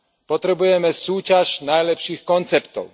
Potrebujeme súťaž najlepších konceptov.